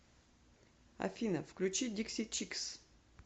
афина включи дикси чикс